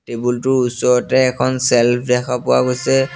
Table টোৰ ওচৰতে এখন ছেলফ দেখা পোৱা গৈছে।